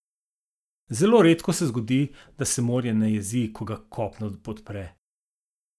Zelo redko se zgodi, da se morje ne jezi, ko ga kopno podpre.